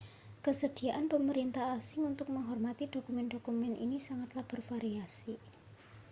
kesediaan pemerintah asing untuk menghormati dokumen-dokumen ini sangatlah bervariasi